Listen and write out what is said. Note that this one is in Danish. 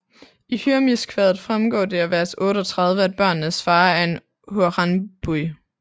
I Hymirskvadet fremgår det af vers 38 at børnenes far er en hraunbúi